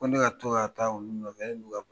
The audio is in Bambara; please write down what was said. Ko ne ka to ka taa olu nɔfɛ yan'u